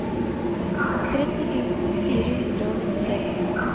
tretti tusen fire hundre og nittiseks